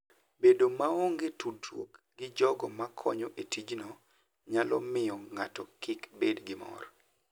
Bedo maonge tudruok gi jogo makonyo e tijno, nyalo miyo ng'ato kik bed gi mor.